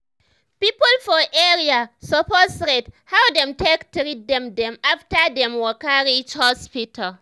people for area suppose rate how dem take treat dem dem after dem waka reach hospital.